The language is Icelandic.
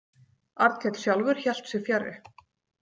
Arnkell sjálfur hélt sig fjarri.